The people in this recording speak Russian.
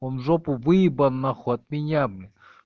он в жопу выебан нахуй от меня блин